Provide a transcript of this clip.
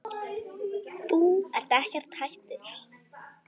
Þú ert ekkert hættur?